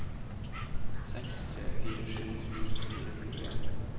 seks tre fire sju trettini fire hundre og en